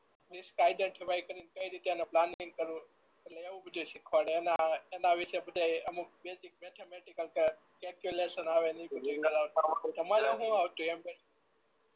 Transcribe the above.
risk કાયદે કેહવાય કરી ને તેનું પ્લાનીંગ કરવું એટલે એવું બધું ય શીખવાડે અને એનાં વિશે બધાય અમુક બેઝીક મેથેમેટિકલ કેલ્ક્યુલેશન ને એવું બધું તમારે હું આવતું એમ કોને